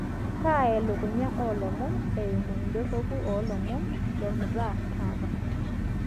kaa elukunya oo ilomon eimu idorropu oo ilomon lolmutaa taata